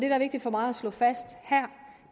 er vigtigt for mig at slå fast her